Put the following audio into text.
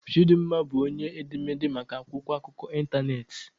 Chidinma bụ onye edemede maka akwụkwọ akụkọ ịntanetị.